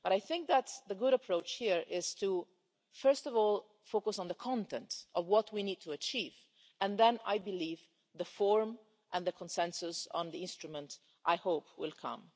I think that the right approach here is to first of all focus on the content of what we need to achieve and then, I believe, the forum and the consensus on the instrument, I hope, will come.